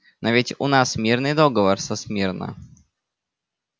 но ведь у нас мирный договор со смирно